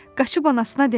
Qaçıb anasına dedi: